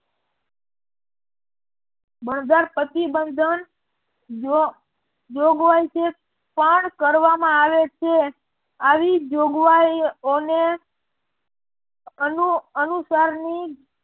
જોગવાઈ છે પણ કરવામાં આવે છે આવી જોગવાયઓને અનુસારની